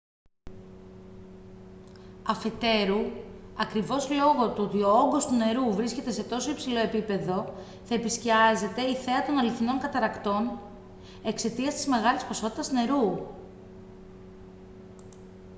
αφετέρου ακριβώς λόγω του ότι ο όγκος του νερού βρίσκεται σε τόσο υψηλό επίπεδο θα επισκιάζεται η θέα των αληθινών καταρρακτών εξαιτίας της μεγάλης ποσότητας νερού